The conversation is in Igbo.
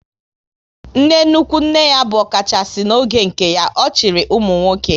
Nne nnukwu nne ya bụ ọkachasị n'oge nke ya, ọ chịrị ụmụnwoke